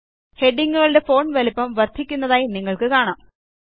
ഹെഡിംഗ്ങ്ങുകളുടെ font വലിപ്പം വർദ്ധിക്കുന്നതായി നിങ്ങൾക്ക് കാണാം